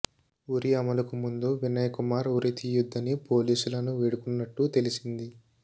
ఉరి అమలుకు ముందు వినయ్ కుమార్ ఉరి తీయొద్దని పోలీసులను వేడుకున్నట్టు తెలిసింది